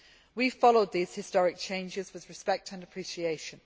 We have followed these historic changes with respect and appreciation.